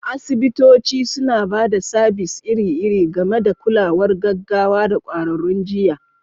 Asibitoci suna ba da sabis iri-iri, gami da kulawar gaggawa da ƙwararrun jiyya.